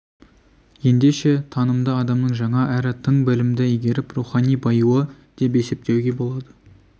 ендеше танымды адамның жаңа әрі тың білімді игеріп рухани баюы деп есептеуге болады